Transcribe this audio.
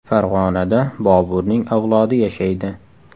Farg‘onada Boburning avlodi yashaydi.